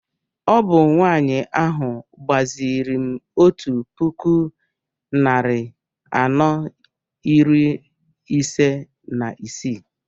Ọ bụ nwanyị ahụ gbaziri m otu puku narị anọ iri ise na isii